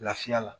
Lafiya la